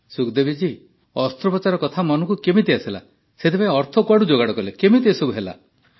ସୁଖଦେବୀ ଜୀ ଅସ୍ତ୍ରୋପଚାର କଥା ମନକୁ କେମିତି ଆସିଲା ସେଥିପାଇଁ ଅର୍ଥ କୁଆଡୁ ଯୋଗାଡ଼ କଲେ କେମିତି ଏସବୁ ହେଲା